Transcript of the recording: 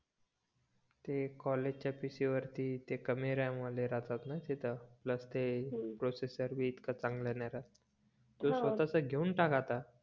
ते कॉलेजच्या PC वरती कमी RAM वाले राहतात न तिथ प्लस ते प्रोसेसर पण इतक चांगल नाही राहत. तू स्वतःचा घेवून टाक आता